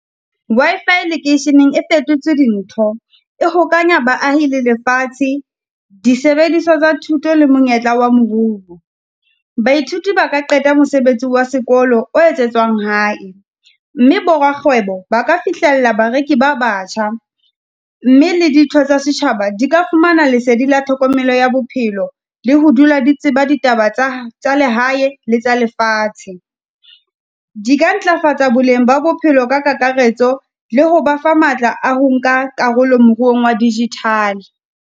Wi-Fi lekeisheneng e fetotse. Dintho e hokahanya baahi le lefatshe, disebediswa tsa thuto le monyetla wa moruo. Baithuti ba ka qeta mosebetsi wa sekolo o etsetswang hae, mme borakgwebo ba ka fihlella bareki ba batjha, mme le ditho tsa setjhaba di ka fumana lesedi la tlhokomelo ya bophelo le ho dula di tseba, ditaba tsa tsa lehae le tsa lefatshe. Di ka ntlafatsa boleng ba bophelo ka kakaretso le ho ba fa matla a ho nka karolo moruong wa digital.